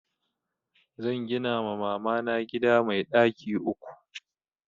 Zan gina ma mamana gida mai ɗaki uku